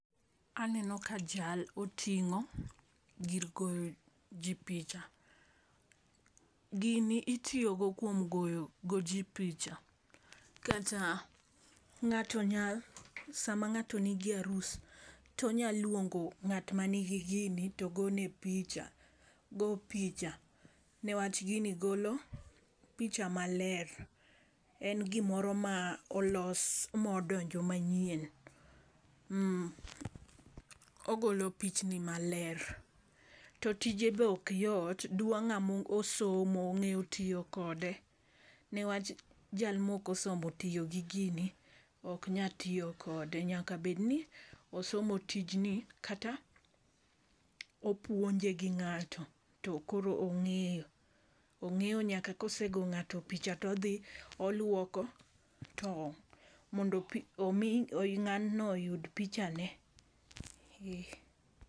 Aneno ka jal oting'o gir goyo jii picha . Gini itiyo go kuom goyo go jii picha, kata ng'ato nya sama ng'ato nigi arus tonya luongo ng'at ma nigi gini to gone picha go picha newach gini golo picha maler. En gimoro ma olos modonjo manyien. Ogolo pichni maler to tije bok yot dwa ng'amo somo ong'e tiyo kode newach ng'at moko somo tiyo gi gini ok nya tiyo kode. Nyaka bed ni osomo tijni kata opuonje gi ng'ato to koro ong'eyo ong'eyo nyaka ka kosego ng'ato picha todhi oluoko to mondo omi ng'ano oyud pichane.